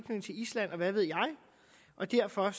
island og hvad ved jeg og derfor